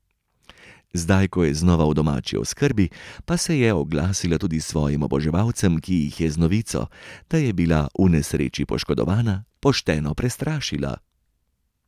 Zdaj, ko je znova v domači oskrbi, pa se je oglasila tudi svojim oboževalcem, ki jih je z novico, da je bila v nesreči poškodovana, pošteno prestrašila.